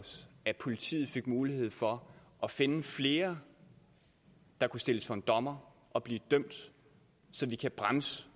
os at politiet fik mulighed for at finde flere der kunne stilles for en dommer og blive dømt så vi kan bremse